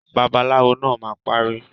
Babaláwo naa ma pari.